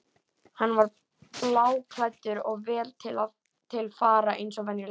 Hann var bláklæddur og vel til fara eins og venjulega.